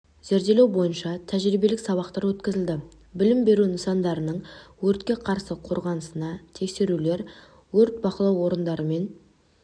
зерделеу бойынша тәжірибелік сабақтар өткізілді білім беру нысандарының өртке қарсы қорғанысына тексерулер өрт бақылау органдарымен